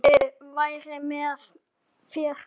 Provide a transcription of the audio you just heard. Guð veri með þér.